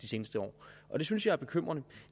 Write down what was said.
seneste år og det synes jeg er bekymrende